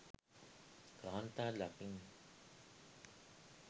කාන්තාර දකින්න